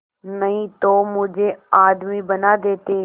नहीं तो मुझे आदमी बना देते